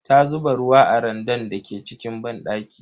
Ta zuba ruwa a randan da ke cikin banɗaki.